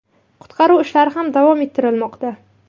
Qutqaruv ishlari ham davom ettirilmoqda.